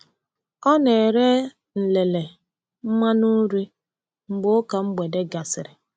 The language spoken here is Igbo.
Ọ na-ere nlele mmanụ uri mgbe ụka mgbede gasịrị.